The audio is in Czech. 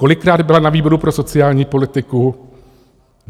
Kolikrát byla na výboru pro sociální politiku?